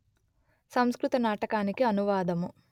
సంస్కృత నాటకానికి అనువాదము